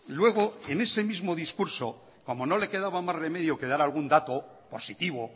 luego en ese mismo discurso como no le quedaba más remedio que dar algún dato positivo